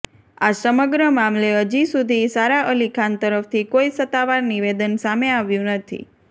આ સમગ્ર મામલે હજી સુધી સારા અલી ખાન તરફથી કોઈ સત્તાવાર નિવેદન સામે આવ્યું નથી